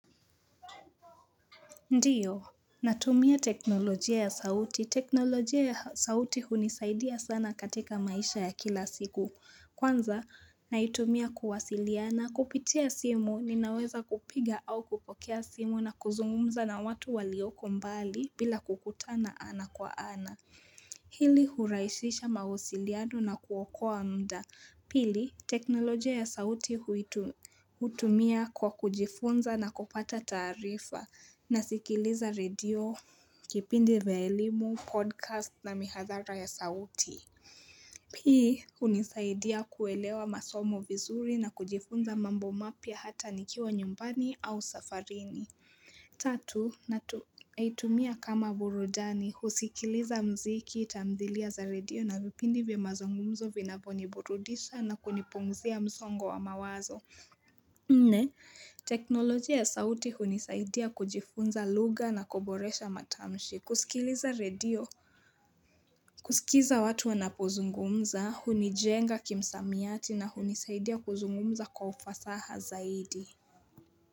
Ndiyo, natumia teknolojia ya sauti. Teknolojia ya sauti hunisaidia sana katika maisha ya kila siku. Kwanza, naitumia kuwasiliana. Kupitia simu, ninaweza kupiga au kupokea simu na kuzungumumza na watu walioko mbali bila kukutana ana kwa ana. Hili huraishisha mahusiliano na kuwakoa mda. Pili, teknolojia ya sauti hutumia kwa kujifunza na kupata tarifa na sikiliza radio, kipindi vya elimu, podcast na mihazara ya sauti. Pii, unisaidia kuelewa masomo vizuri na kujifunza mambo mapia hata nikiwa nyumbani au safarini. Tatu, nahitumia kama burudani, husikiliza mziki, tamdhilia za radio na vipindi vya mazongumzo vinavoni burudisha na kunipungzia mzongo wa mawazo. Nne, teknolojia ya sauti unisaidia kujifunza luga na koboresha matamshi. Kusikiliza radio, kusikiza watu wanapozungumza, hunijenga kimsamiati na hunisaidia kuzungumza kwa ufasaha zaidi.